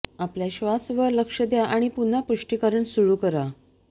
आपल्या श्वास वर लक्ष द्या आणि पुन्हा पुष्टीकरण सुरू करा